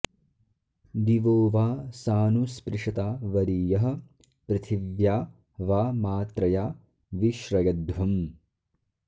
दि॒वो वा॒ सानु॑ स्पृ॒शता॒ वरी॑यः पृथि॒व्या वा॒ मात्र॑या॒ वि श्र॑यध्वम्